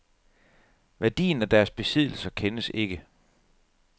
Værdien af deres besiddelser kendes ikke.